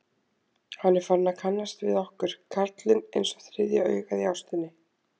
Hann er farinn að kannast við okkur, karlinn, einsog þriðja augað í ástinni.